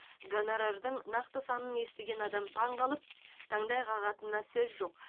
гонорардың нақты санын естіген адам таңқалып таңдай қағатынына сөз жоқ